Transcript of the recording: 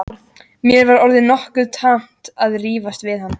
Mér var orðið nokkuð tamt að rífast við hann.